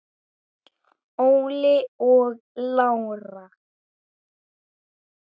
Óli og Lára.